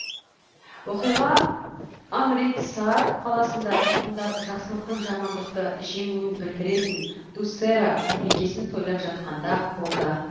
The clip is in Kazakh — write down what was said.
оқиға амритсар қаласында тұрғындар жақсылықтың жамандықты жеңуін білдіретін дуссера мерекесін тойлап жатқанда болды